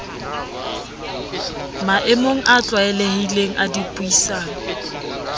maemong a tlwaelehileng a dipuisano